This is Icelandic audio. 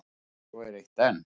Svo er eitt enn.